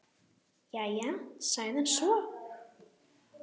Jæja, sagði hann svo.